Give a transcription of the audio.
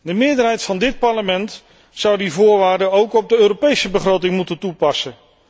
De meerderheid van dit Parlement zou die voorwaarde ook op de Europese begroting moeten toepassen.